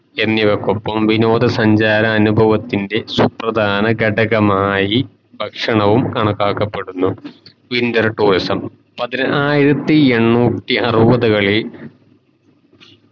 എന്നിവക്കൊപ്പം വിനോദ സഞ്ചാര അനിഭവത്തിൻറെ സുപ്രധാന കടഘമായി ഭക്ഷണവും കണക്കാക്കപ്പെടുന്നു winter tourism പതിനായിരത്തി എണ്ണൂറ്റി ആറുവത്തകളിൽ